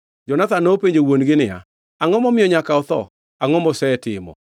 Jonathan nopenjo wuon-gi niya, “Angʼo momiyo nyaka otho? Angʼo mosetimo?”